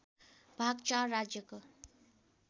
भाग ४ राज्यको